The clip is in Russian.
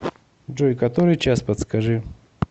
джой который час подскажи